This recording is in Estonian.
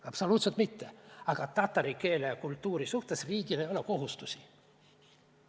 Absoluutselt mitte, aga tatari keele ja kultuuri suhtes meie riigil ei ole kohustusi.